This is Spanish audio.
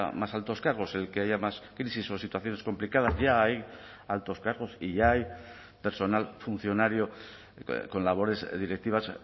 más altos cargos el que haya más crisis o situaciones complicadas ya hay altos cargos y ya hay personal funcionario con labores directivas